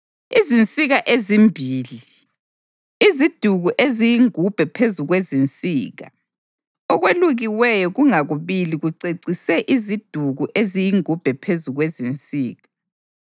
izinsika ezimbili; iziduku eziyingubhe phezu kwezinsika; okwelukiweyo kungakubili kucecise iziduku eziyingubhe phezu kwezinsika;